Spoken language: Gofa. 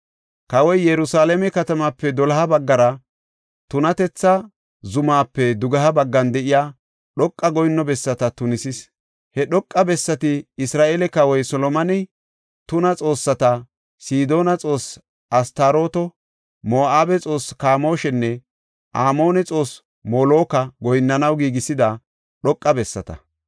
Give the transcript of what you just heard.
Kawoy Yerusalaame katamaape doloha baggara, tunatetha zumaape dugeha baggan de7iya dhoqa goyinno bessata tunisis. He dhoqa bessati Isra7eele kawoy Solomoney, tuna xoossata, Sidoona xoosse Astarooto, Moo7abe xoossaa Kamooshanne Amoone xoossaa Moloka goyinnanaw giigisida dhoqa bessata.